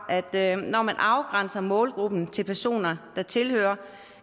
at når man afgrænser målgruppen til personer der tilhører